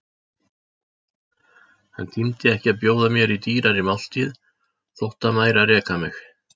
Hann tímdi ekki að bjóða mér í dýrari máltíð, þótt hann væri að reka mig.